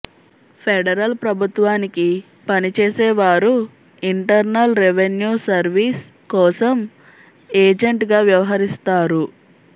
federal ప్రభుత్వానికి పనిచేసే వారు ఇంటర్నల్ రెవెన్యూ సర్వీస్ కోసం ఎజెంట్గా వ్యవహరిస్తారు